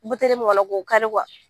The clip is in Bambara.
Buteli mun kɔnɔ k'o kari